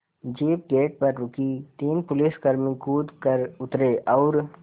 jeep gate पर रुकी तीन पुलिसकर्मी कूद कर उतरे और